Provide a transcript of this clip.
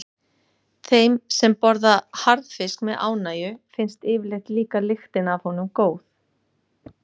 Þeim sem borða harðfisk með ánægju finnst yfirleitt líka lyktin af honum góð.